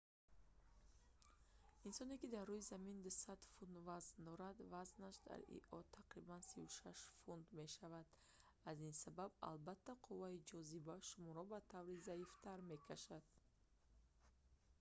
инсоне ки дар рӯи замин 200 фунт 90 кг вазн дорад вазнаш дар ио тақрибан 36 фунт 16 кг мешавад. аз ин сабаб албатта қувваи ҷозиба шуморо ба таври заифтар мекашад